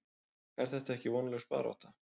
Er þetta ekki vonlaus barátta?